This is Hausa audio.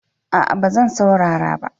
A'a ba zan saurara ba